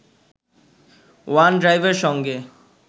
ওয়ান-ড্রাইভের সঙ্গে